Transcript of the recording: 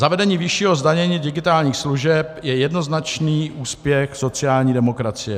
Zavedení vyššího zdanění digitálních služeb je jednoznačný úspěch sociální demokracie.